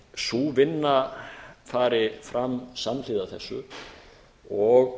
sú vinna fari fram samhliða þessu og